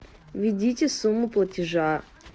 введите сумму платежа